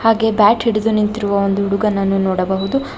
ಹಾಗೆ ಬ್ಯಾಟ್ ಹಿಡಿದು ನಿಂತಿರುವ ಒಂದು ಹುಡುಗನನ್ನು ನೋಡಬಹುದು.